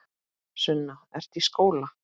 Sunna: Ertu í skóla?